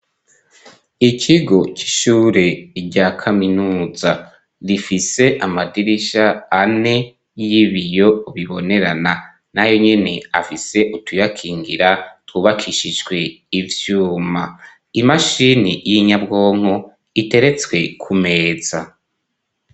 Ikigo c'ishure rya kaminuza rifise amadirisha ane y'ibiyo ubibonerana nayo nyene afise utuyakingira twubakishishwe ivyuma imashini y'inyabwonko iteretswe ku meza.